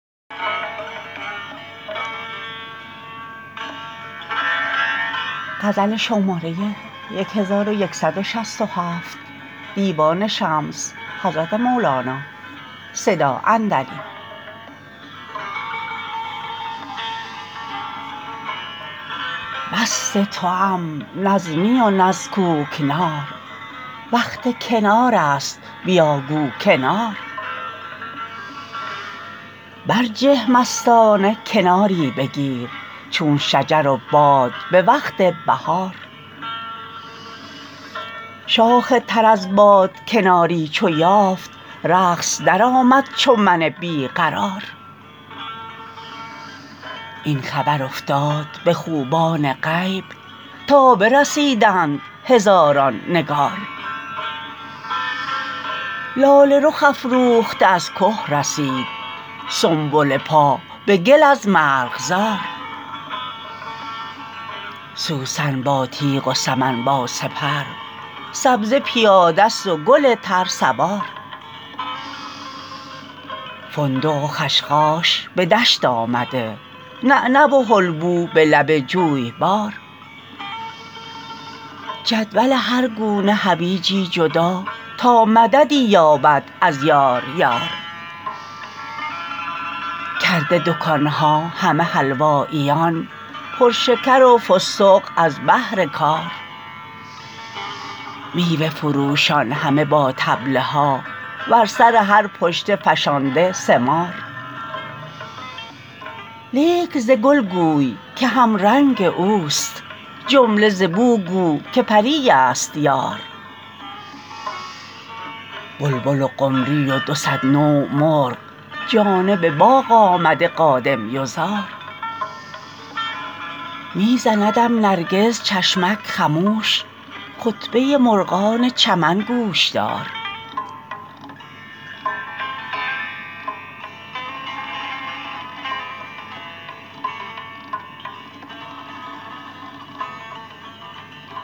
مست توام نه از می و نه از کوکنار وقت کنارست بیا گو کنار برجه مستانه کناری بگیر چون شجر و باد به وقت بهار شاخ تر از باد کناری چو یافت رقص درآمد چو من بی قرار این خبر افتاد به خوبان غیب تا برسیدند هزاران نگار لاله رخ افروخته از که رسید سنبله پا به گل از مرغزار سوسن با تیغ و سمن با سپر سبزه پیاده ست و گل تر سوار فندق و خشخاش به دست آمده نعنع و حلبو به لب جویبار جدول هر گونه حویجی جدا تا مددی یابد از یار یار کرده دکان ها همه حلواییان پرشکر و فستق از بهر کار میوه فروشان همه با طبل ها بر سر هر پشته فشانده ثمار لیک ز گل گوی که همرنگ اوست جمله ز بو گو که پریست یار بلبل و قمری و دو صد نوع مرغ جانب باغ آمده قادم یزار می زندم نرگس چشمک خموش خطبه مرغان چمن گوش دار